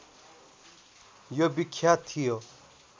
यो विख्यात थियो